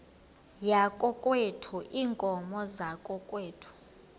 yakokwethu iinkomo zakokwethu